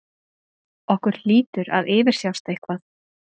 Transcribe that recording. Okkur hlýtur að yfirsjást eitthvað.